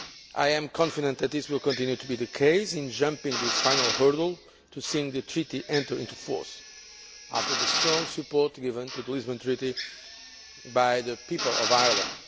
I am confident that this will continue to be the case in jumping this final hurdle to seeing the Treaty enter into force after the strong support given to the Lisbon Treaty by the people of Ireland.